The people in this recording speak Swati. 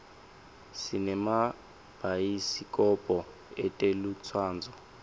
sinemabayisi kobho etelutsandvo